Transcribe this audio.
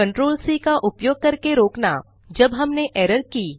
ctrl c का उपयोग करके रोकना जब हमने एरर की